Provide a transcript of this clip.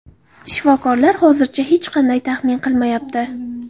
Shifokorlar hozircha hech qanday taxmin qilmayapti.